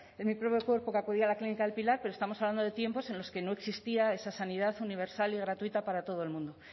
en mi propio cuerpo que acudir a la clínica el pilar pero estamos hablando de tiempos en los que no existía esa sanidad universal y gratuita para todo el mundo